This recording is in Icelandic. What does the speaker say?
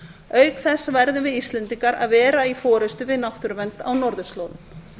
auk þess verðum við íslendingar að vera í forustu við náttúruvernd á norðurslóðum